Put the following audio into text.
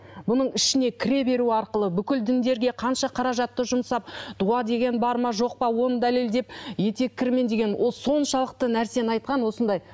бұның ішіне кіре беру арқылы бүкіл діндерге қанша қаражатты жұмсап дуа деген бар ма жоқ па оны дәлелдеп етеккірмен деген ол соншалықты нәрсені айтқан осындай